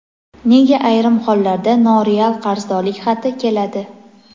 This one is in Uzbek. nega ayrim hollarda noreal qarzdorlik xati keladi?.